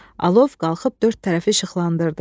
Alov qalxıb dörd tərəfi işıqlandırdı.